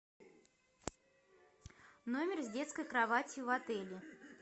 номер с детской кроватью в отеле